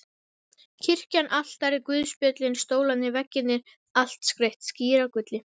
Kirkjan, altarið, guðspjöllin, stólarnir, veggirnir- allt skreytt skíragulli.